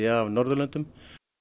af Norðurlöndum